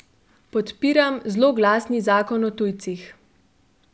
Podpiram zloglasni zakon o tujcih.